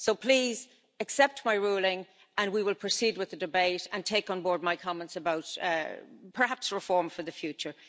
So please, accept my ruling, and we will proceed with the debate and take on board my comments about, perhaps, reform for the future.